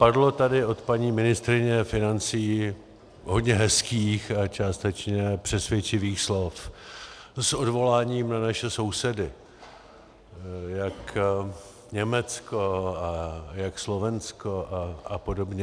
Padlo tady od paní ministryně financí hodně hezkých a částečně přesvědčivých slov s odvoláním na naše sousedy, jak Německo a jak Slovensko a podobně.